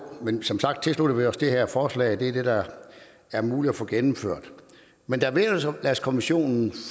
men som sagt tilslutter vi os det her forslag og det er det der er muligt at få gennemført men da vederlagskommissionen